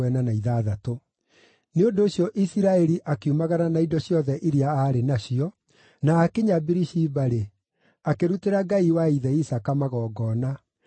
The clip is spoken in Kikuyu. Nĩ ũndũ ũcio Isiraeli akiumagara na indo ciothe iria aarĩ nacio, na aakinya Birishiba-rĩ, akĩrutĩra Ngai wa ithe Isaaka magongona.